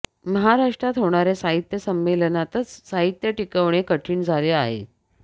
महाराष्ट्रात होणाऱ्या साहित्य संमेलनातच साहित्य टिकवणे कठीण झाले आहे